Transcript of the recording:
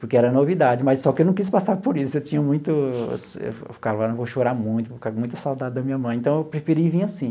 Porque era novidade, mas só que eu não quis passar por isso, eu tinha muito... Eu eu eu ficava, eu vou chorar muito, eu vou ficar com muita saudade da minha mãe, então eu preferia ir e vir assim.